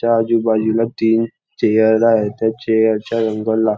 त्या आजूबाजूला तीन चेअर आहे त्या चेअर चा रंग ला --